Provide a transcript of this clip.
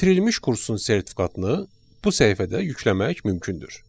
Bitirilmiş kursun sertifikatını bu səhifədə yükləmək mümkündür.